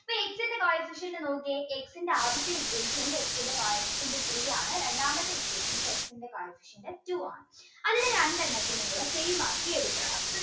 coefficient നോക്കിയേ X ൻറെ ആദ്യത്തെ equation ൽ X ൻറെ coefficient three ആണ് രണ്ടാമത്തെ equation ൽ X ൻറെ coefficient two ആണ് അതിന് രണ്ടെണ്ണത്തിനെയും കൂടെ same ആക്കി എടുക്കണം